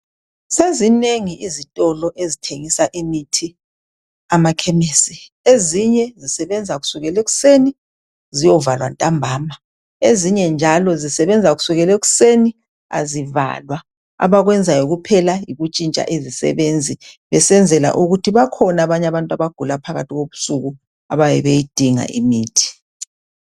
Sezinengi izitolo ezithengisa imithi amakhemisi ezinye zisebenza kusukela ekuseni ziyovalwa ntambama ezinye njalo zisebenza kusukelwa ekuseni azivalwa abakwenzayo kuphela yikuntshintsha izisebenzi besenzela ukuthi bakhona abanye abantu abagula phakathi kobusuku ababeyidinga imithi.